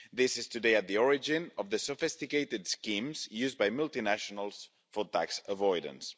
This is today at the origin of the sophisticated schemes used by multinationals for tax avoidance.